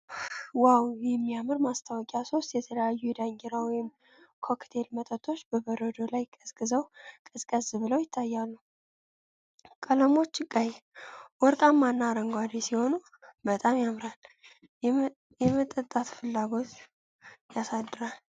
ዋው! የሚያምር ማስታወቂያ! ሶስት የተለያዩ የዳንኪራ ወይን ኮክቴል መጠጦች በበረዶ ላይ ቀዝቀዝ ብለው ይታያሉ። ቀለሞቹ ቀይ፣ ወርቃማ እና አረንጓዴ ሲሆኑ በጣም ያምራል፤ የመጠጣት ፍላጎት ያሳድራል።